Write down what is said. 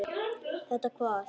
Þetta hvað?